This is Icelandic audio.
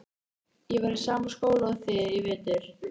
Ég var í sama skóla og þið í vetur.